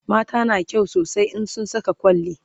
mata na kyau sosai in sun Saka kwalli